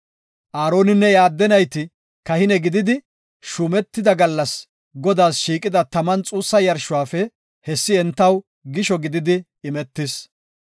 Aaroninne iya adde nayti kahine gididi shuumetida gallas Godaas shiiqida xuussa yarshuwafe, hesika entaw gisho gididi imetis.